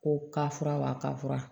Ko ka fura ba ka fura